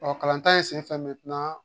Ɔ kalanta in senfɛ